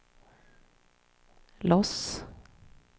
Los